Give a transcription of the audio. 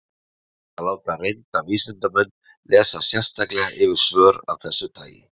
Reynt er að láta reynda vísindamenn lesa sérstaklega yfir svör af þessu tagi.